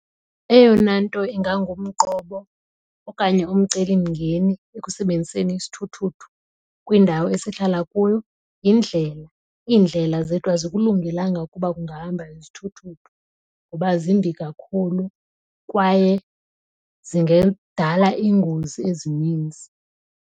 Eyona nto ingangumqobo okanye umcelimngeni ekusebenziseni isithuthuthu kwindawo esihlala kuyo yindlela. Iindlela zethu azikulungelanga ukuba kungahamba izithuthuthu ngoba zimbi kakhulu kwaye zingadala iingozi ezininzi.